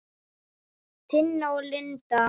Tina og Linda.